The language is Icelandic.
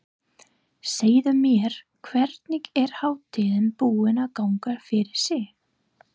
Segðu mér, hvernig er hátíðin búin að ganga fyrir sig?